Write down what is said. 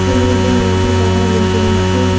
ছবিটিতে আমরা একটি পাহাড় দেখতে পাচ্ছি।